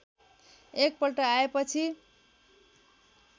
एक पल्ट आएपछि